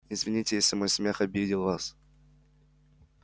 извините если мой смех обидел вас